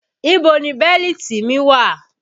Ibo ni bẹ́lítì mi wà?